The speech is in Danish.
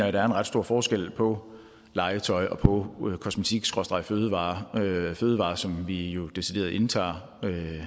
at der er en ret stor forskel på legetøj og på kosmetikfødevarer fødevarer som vi jo decideret indtager